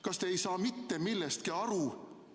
Kas te ei saa mitte millestki aru?